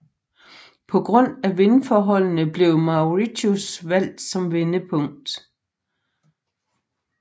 På grund af vindforholdene blev Mauritius valgt som vendepunkt